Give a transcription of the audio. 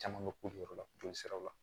Caman bɛ k'u jɔyɔrɔ la joli siraw la